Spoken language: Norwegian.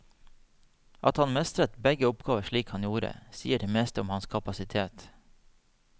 At han mestret begge oppgaver slik han gjorde, sier det meste om hans kapasitet.